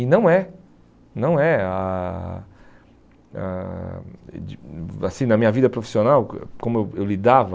E não é. Não é. Ãh ãh de assim, na minha vida profissional, co como eu eu lidava...